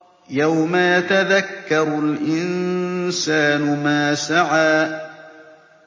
يَوْمَ يَتَذَكَّرُ الْإِنسَانُ مَا سَعَىٰ